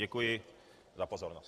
Děkuji za pozornost.